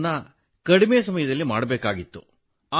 ಅವುಗಳನ್ನು ಕಡಿಮೆ ಸಮಯದಲ್ಲಿ ಮಾಡಬೇಕಿತ್ತು